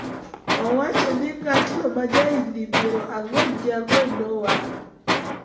Owacho ni ng�atno ma ja higni piero ang'wen gi ang'wen nowang�